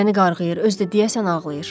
Məni qarğıyır, özü də deyəsən ağlayır.